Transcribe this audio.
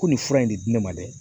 Ko nin fura in de di ne ma dɛ